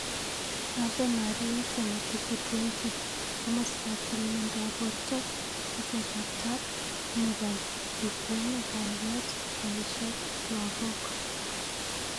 Ave Maria Semakufu 20.Komastap tililindop porto, Tesetaptap. nepo klkweg, alyet, Poishek ak lagok